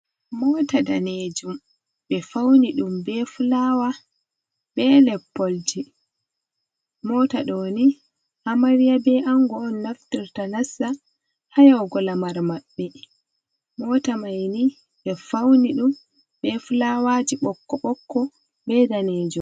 Mota daneejum ɓe fawni ɗum ɓe fulaawa be leppolji, moota ɗo ni amarya bee anngo on naftorta nasta haa yahugo lamar maɓɓe, mota mai ni ɓe fawni ɗum bee fulaawaaji bokko-bokko bee daneejum.